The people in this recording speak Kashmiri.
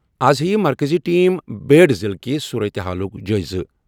از ہیٚیہِ مرکٔزی ٹیم بیڈ ضِلعہٕ کِس صورتہِ حالُک جٲیزٕ۔